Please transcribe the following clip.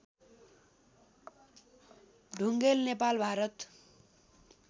Dhungel Nepal Bharat